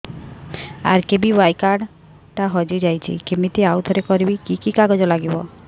RKBY card ଟା ହଜିଯାଇଛି କିମିତି ଆଉଥରେ କରିବି କି କି କାଗଜ ଲାଗିବ